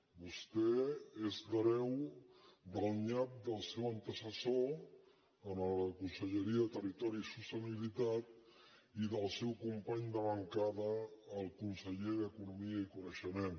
vostè és l’hereu del nyap del seu antecessor en la conselleria de territori i sostenibilitat i del seu company de bancada el conseller d’economia i coneixement